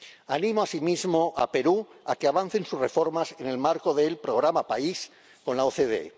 Animo asimismo a Perú a que avance sus reformas en el marco del Programa País de la OCDE.